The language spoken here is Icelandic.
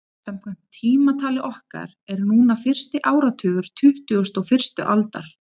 Samkvæmt tímatali okkar er núna fyrsti áratugur tuttugustu og fyrstu aldar.